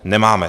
Nemáme.